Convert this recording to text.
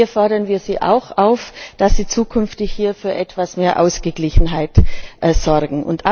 Wir fordern Sie auch auf, dass sie zukünftig hier für etwas mehr Ausgeglichenheit sorgen.